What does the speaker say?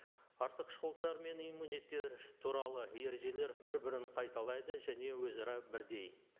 артықшылықтар мен иммунитет туралы ережелер бір бірін қайталайды және өзара бірдей